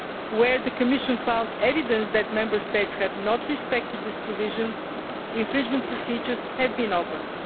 Where the Commission has found evidence that Member States have not respected this provision, infringement procedures have been opened.